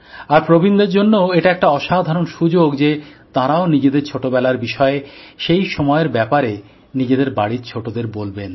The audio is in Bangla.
আর প্রবীণদের জন্যও এটা একটা অসাধারণ সুযোগ যে তাঁরাও নিজেদের ছোটবেলার বিষয়ে সেই সময়ের ব্যাপারে নিজেদের বাড়ির ছোটদের বলবেন